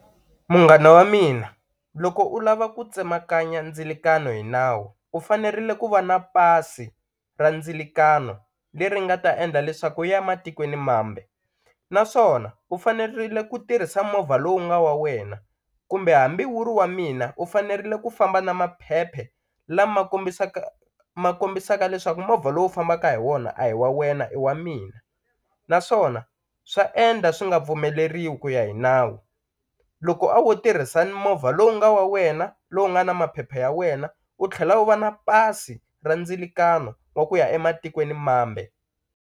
Munghana wa mina loko u lava ku tsemakanya ndzilakano hi nawu u fanerile ku va na pasi ra ndzilakano leri nga ta endla leswaku u ya matikweni mambe, naswona u fanerile ku tirhisa movha lowu nga wa wena kumbe hambi wu ri wa mina u fanerile ku famba na maphephe lama kombisaka ma kombisaka leswaku movha lowu u fambaka hi wona a hi wa wena i wa mina, naswona swa endla swi nga pfumeleriwi ku ya hi nawu, loko wo tirhisa ni movha lowu nga wa wena lowu nga na maphephe ya wena u tlhela u va na pasi ra ndzilakano wa ku ya ematikweni mambe.